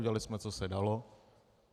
Udělali jsme, co se dalo.